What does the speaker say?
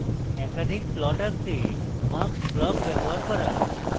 একাধিক plots আঁকতে mux block ব্যবহার করা